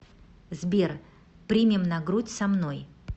сбер примем на грудь со мной